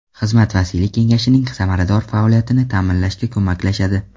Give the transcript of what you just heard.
Xizmat vasiylik kengashining samarador faoliyatini ta’minlashga ko‘maklashadi.